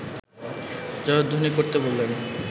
জয়ধ্বনি করতে বললেন